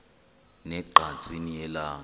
ne ngqatsini yelanga